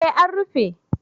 Eh an rufe